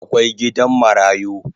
Akwai gidan marayu